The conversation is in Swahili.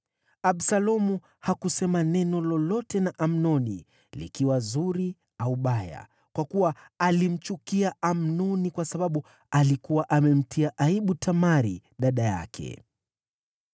Absalomu hakusema neno lolote na Amnoni, likiwa zuri au baya, kwa kuwa alimchukia Amnoni kwa sababu alikuwa amemtia aibu Tamari, dada yake.